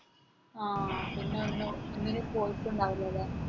ആ പിന്നൊന്നിനും പിന്നെ ഇനി പോയിട്ടുണ്ടാവില്ല അല്ലെ